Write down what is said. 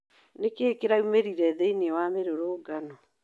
Nĩkĩĩ kĩraumĩrire thĩiniĩ wa mĩrũrũngano?